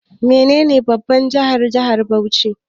Menene babban jihar na jihar Benue?